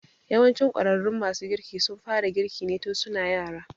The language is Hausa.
Yawancin ƙwararrun masu girki sun fara girki ne tun su na yara.